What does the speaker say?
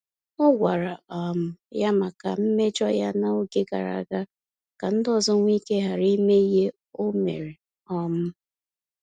Ọ gwara um ha maka mmejọ ya na-oge gara aga ka ndị ọzọ nweike ghara ime ihe o mere um